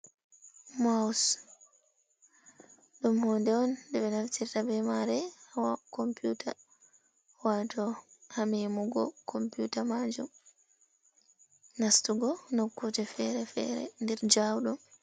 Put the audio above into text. Maus ɗum huunde on nde ɓe naftirta bee maare haa kompuuta waato haa meemugo kompuuta maajum, nastugo nokkuuje feere-feere nder jaawɗum.